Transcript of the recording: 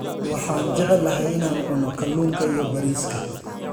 Waxaan jeclahay in aan cuno kalluunka iyo bariiska.